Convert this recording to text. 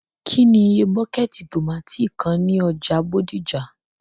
kí ni iye bọ́kẹ́tì tomátì kan ní ọjà Bódìjà?